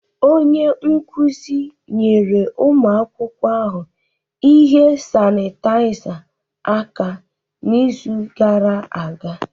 Onye nkuzi nyere ụmụ akwụkwọ ahụ ihe sanitaiza aka n'izu gara aga.